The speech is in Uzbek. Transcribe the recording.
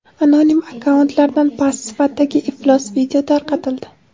Anonim akkauntlardan past sifatdagi iflos video tarqatildi.